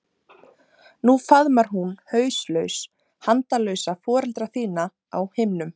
Nú faðmar hún hauslaus handalausa foreldra þína á himnum.